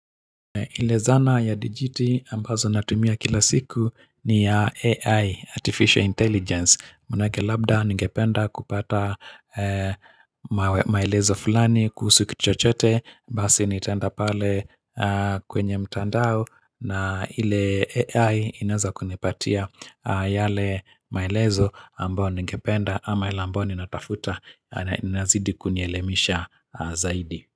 Ile zana ya DGT ambazo natumia kila siku ni AI, Artificial Intelligence. Manake labda ningependa kupata maelezo fulani kuhusu kitu chochote, basi nitaenda pale kwenye mtandao na ile AI inaweza kunipatia yale maelezo ambao ningependa ama ila ambayo ninatafuta na nazidi kunielemisha zaidi.